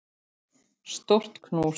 Stórt knús.